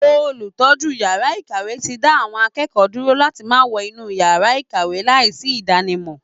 Olùtọ́jú yàrá ìkàwé ti dá àwọn akẹ́kọ̀ọ́ dúró láti máa wọ inú yàrá ìkàwé láìsí ìdánimọ̀